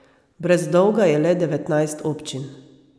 Brez dolga je le devetnajst občin.